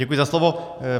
Děkuji za slovo.